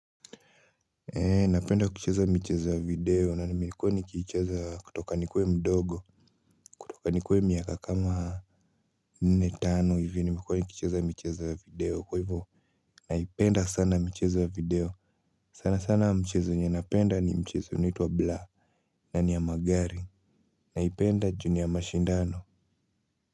Eeh napenda kucheza michezo ya video na nimekuwa nikiicheza kutoka nikuwe mdogo kutoka nikuwe miaka kama nne, tano hivi nimekuwa nikicheza michezo ya video kwa hivyo naipenda sana michezo ya video, sana sana mchezo yenye napenda ni mchezo unaitwa blur, na ni ya magari naipenda juu ni ya mashindano.